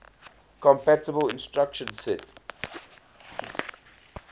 compatible instruction set